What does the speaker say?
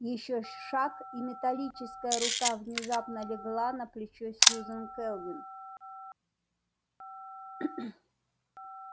ещё шаг и металлическая рука внезапно легла на плечо сьюзен кэлвин